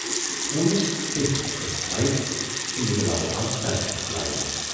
ہوٗنِس پٮ۪ٹھۍ کھٔژ بایِک تہٕ نِکہٕ لال آو سڑکہِ پٮ۪ٹھ لایِنہٕ۔